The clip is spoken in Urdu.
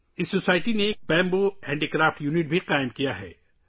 اس سوسائٹی نے بانس ہینڈی کرافٹ یونٹ بھی قائم کیا ہے